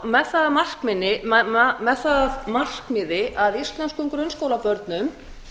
með það að markmiði að íslenskum grunnskólabörnum